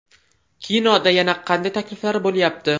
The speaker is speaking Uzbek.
Kinoda yana qanday takliflar bo‘lyapti?